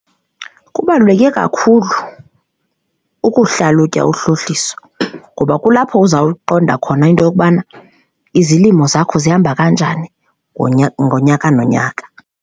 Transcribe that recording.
Kubaluleke kakhulu ukuhlalutya uhlohliso ngoba kulapho uzawuyiqonda khona into yokubana izilimo zakho zihamba kanjani ngonyaka nonyaka.